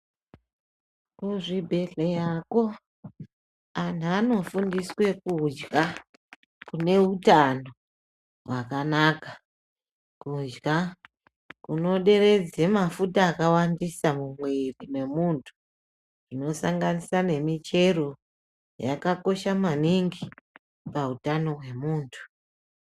Kuzvibhedhleyakwo anhu anofundiswe kudya kune utano hwakanaka ,kudya kunoderedze mafuta akawandisa mumwiri memuntu , zvinosanganisa nemichero yakakosha maningi, pautano hwemuntu.